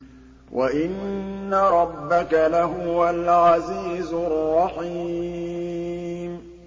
وَإِنَّ رَبَّكَ لَهُوَ الْعَزِيزُ الرَّحِيمُ